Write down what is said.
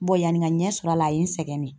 yani n ka ɲɛ sɔrɔ a la a ye n sɛgɛn dɛ.